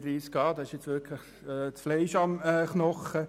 Artikel 31a hat wirklich Fleisch am Knochen.